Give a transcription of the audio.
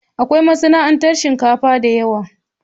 Akwai masana'antar shinkafa da yawa.